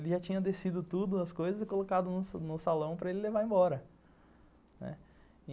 Ele já tinha descido tudo, as coisas, e colocado no salão para ele levar embora.